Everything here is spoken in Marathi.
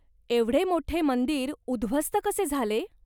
एवढे मोठे मंदिर उध्वस्त कसे झाले?